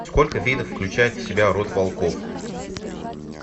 сколько видов включает в себя род волков